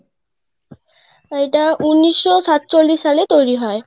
এটাউনিশশো সাতচল্লিশ সালে তৈরি হয়.